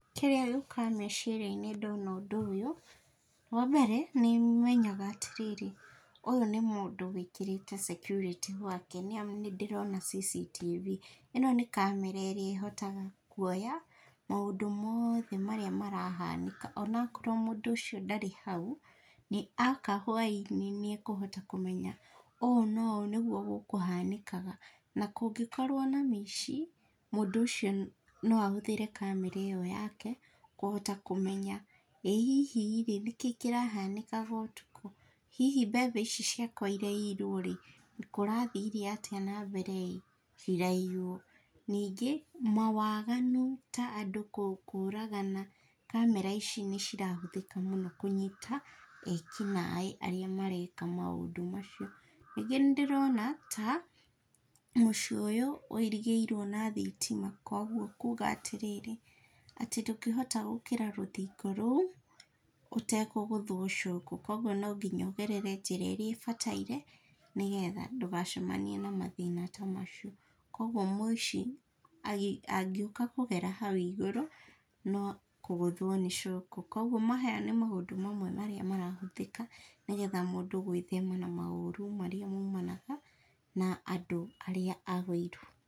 Kĩrĩa gĩũkaga meciria-inĩ ndona ũndũ ũyũ, wa mbere, nĩ menyaga atĩ rĩrĩ, ũyũ nĩ mũndũ wĩkĩrĩte security gwake nĩ amu nĩ ndĩrona CCTV. ĩno nĩ kamera ĩrĩa ĩhotaga kũoya maũndũ mothe marĩa marahanĩka, o na okorwo mũndũ ũcio ndarĩ hau, nĩ aoka hwaĩ-inĩ, nĩ ekũhota kũmenya ũũ na ũũ nĩguo gũkũhanĩkaga. Na kũngĩkorwo na mĩici, mũndũ ũcio no ahũthĩre kamera ĩyo yake kũhota kũmenya ĩ hihi rĩ, nĩ kĩĩ kĩrahanĩkaga ũtukũ? Hihi mbembe ici ciakwa iraiyirwo rĩ, kũrathire atĩa nambere ĩ, ciraiywo? Ningĩ, mawaganu ta andũ kũũragana, kamera ici nĩ cirahũthĩka mũno kũnyita ekinaĩ arĩa mareka maũndũ macio. Ningĩ nĩ ndĩrona ta mũciĩ ũyũ wũirigĩirwo na thitima kwoguo kuuga atĩ rĩrĩ, atĩ ndũngĩhota gũkĩra rũthingo rũu ũtekũgũthwo shock. Kwoguo no nginya ũgerere njĩra ĩrĩa ĩbataire nĩgetha ndũgacemanie na mathĩna ta macio, kwoguo, mũici angĩũka kũgera hau igũrũ no kũgũthwo nĩ shock. Kwoguo maya nĩ maũndũ mamwe marĩa marahũthĩka nĩgetha mũndũ gwĩthema na maũru marĩa maumanaga na andũ arĩa a wũiru.